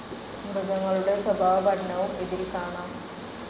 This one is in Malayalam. മൃഗങ്ങളുടെ സ്വഭാവ പഠനവും ഇതിൽ കാണാം.